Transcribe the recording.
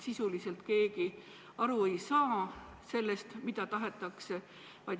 Sisuliselt ei saa keegi aru sellest, mida aru saada tahetakse.